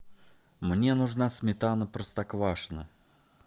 мне нужна сметана простоквашино